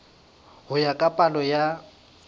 ho ya ka palo ya